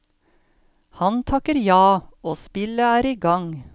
Han takker ja, og spillet er i gang.